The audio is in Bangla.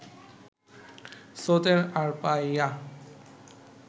স্রোতের আড় পাইয়া